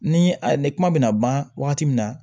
Ni a ye ni kuma bɛ na ban wagati min na